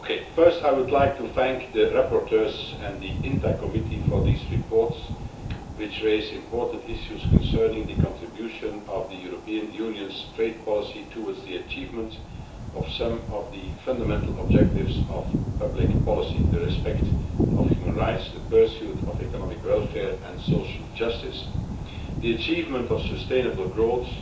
First, I would like to thank the rapporteurs and the INTA Committee for these reports, which raise important issues concerning the contribution of the European Union's trade policy towards the achievement of some of the fundamental objectives of public policy respect for human rights, the pursuit of economic welfare and social justice, the achievement of sustainable growth